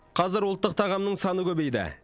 қазір ұлттық тағамның саны көбейді